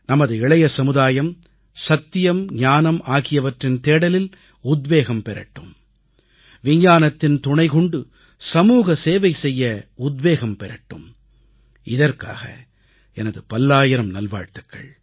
நமது இளைய சமுதாயம் சத்தியம் ஞானம் ஆகியவற்றின் தேடலில் உத்வேகம் பெறட்டும் விஞ்ஞானத்தின் துணை கொண்டு சமூக சேவை செய்ய உத்வேகம் பெறட்டும் இதற்காக எனது பல்லாயிரம் நல்வாழ்த்துகள்